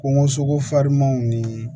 Kungo sogo farinmanw ni